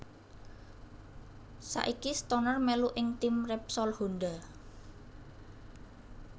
Saiki Stoner melu ing tim Repsol Honda